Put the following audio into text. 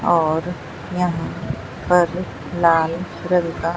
और यहां पर लाल रंग का--